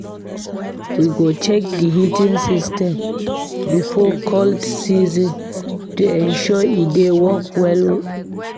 We go check the heating system before cold season to ensure e dey work well.